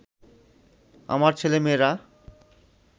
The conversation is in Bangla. আমার ছেলেমেয়েরা